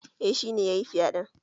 Eh shi ne yayi fyaɗen